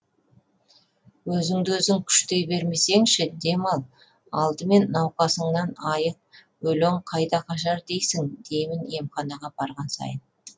өзіңді өзің күштей бермесеңші дем ал алдымен науқасыңнан айық өлең қайда қашар дейсің деймін емханаға барған сайын